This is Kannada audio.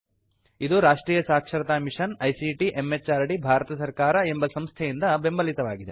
ಇದುರಾಷ್ಟ್ರಿಯ ಸಾಕ್ಷರತಾ ಮಿಷನ್ ಐಸಿಟಿ ಎಂಎಚಆರ್ಡಿ ಭಾರತ ಸರ್ಕಾರ ಎಂಬ ಸಂಸ್ಥೆಯಿಂದ ಬೆಂಬಲಿತವಾಗಿದೆ